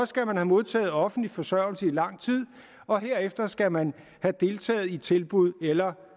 skal man have modtaget offentlig forsørgelse i lang tid og herefter skal man have deltaget i tilbud eller